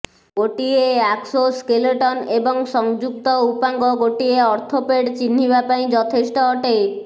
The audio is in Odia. ଗୋଟିଏ ଆକ୍ସୋସ୍କେଲେଟନ ଏବଂ ସଂଯୁକ୍ତ ଉପାଙ୍ଗ ଗୋଟିଏ ଆର୍ଥୋପୋଡ୍ ଚିହ୍ନିବା ପାଇଁ ଯଥେଷ୍ଟ ଅଟେ